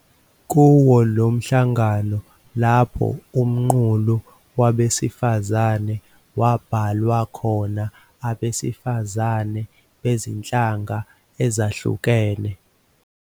Kuwo lo mhlangano lapho Umqulu Wabesifazane wabhalwa khona abesifazane bezinhlanga ezahlukene.